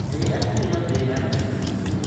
njĩira ũrĩa thĩ yambĩrĩirĩe